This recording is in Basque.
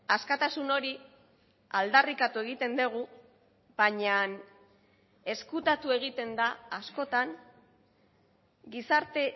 askatasun hori aldarrikatu egiten dugu baina ezkutatu egiten da askotan gizarte